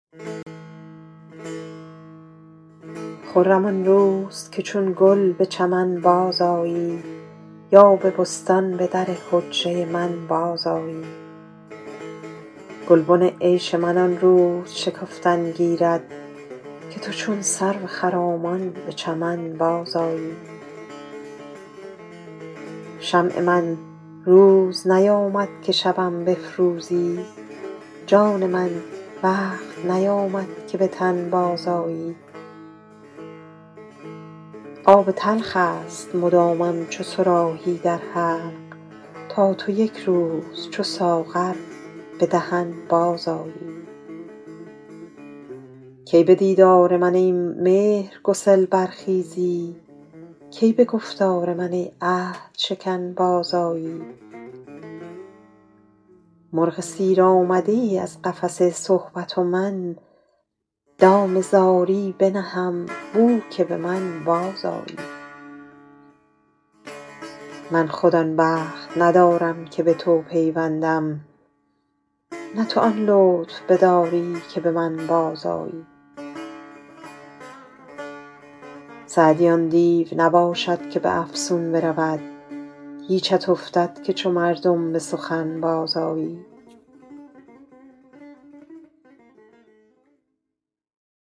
خرم آن روز که چون گل به چمن بازآیی یا به بستان به در حجره من بازآیی گلبن عیش من آن روز شکفتن گیرد که تو چون سرو خرامان به چمن بازآیی شمع من روز نیامد که شبم بفروزی جان من وقت نیامد که به تن بازآیی آب تلخ است مدامم چو صراحی در حلق تا تو یک روز چو ساغر به دهن بازآیی کی به دیدار من ای مهرگسل برخیزی کی به گفتار من ای عهدشکن بازآیی مرغ سیر آمده ای از قفس صحبت و من دام زاری بنهم بو که به من بازآیی من خود آن بخت ندارم که به تو پیوندم نه تو آن لطف نداری که به من بازآیی سعدی آن دیو نباشد که به افسون برود هیچت افتد که چو مردم به سخن بازآیی